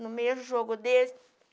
No mesmo jogo deles.